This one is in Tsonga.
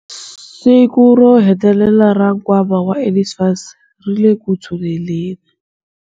Siku ro hetelela ra nkwama wa NSFAS ri le ku tshuneleni.